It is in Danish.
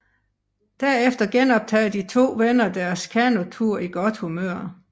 Derefter genoptager de to venner deres kanotur i godt humør